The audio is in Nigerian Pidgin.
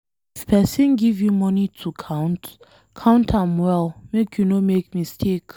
If person give you money to count, count am well make you no make mistake.